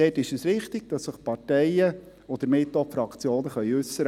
Dort ist es wichtig, dass sich die Parteien und damit auch die Fraktionen äussern können.